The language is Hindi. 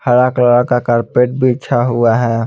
हरा कलर का कारपेट बिछा हुआ हैे।